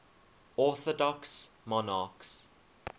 orthodox monarchs